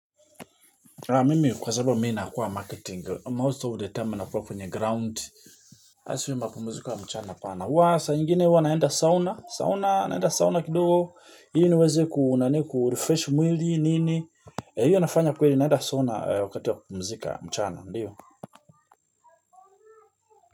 Mimi kwa sababu mi nakuwa marketing most of the time nakuwa kwenye ground haswa mapumziko ya mchana pana waa saa ingine huwa naenda sauna, sauna naenda sauna kidogo ili niweze kurefresh mwili nini hiyo nafanya kweli naenda sauna wakati wa kumpumuzika mchana ndiyo.